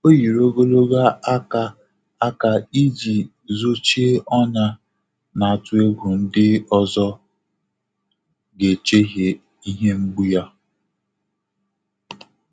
Ọ́ yìrì ògòlògò áká áká ìjí zòchíé ọ́nyá, nà-àtụ́ égwú ndị́ ọ́zọ́ gà-échèhíé ìhè mgbú yá.